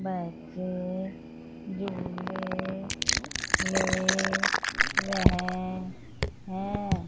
बच्चे झूले ले रहे हैं।